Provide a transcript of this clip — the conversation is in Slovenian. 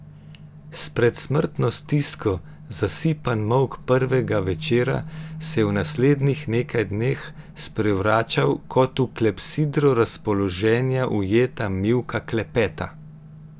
S predsmrtno stisko zasipan molk prvega večera se je v naslednjih nekaj dneh sprevračal kot v klepsidro razpoloženja ujeta mivka klepeta.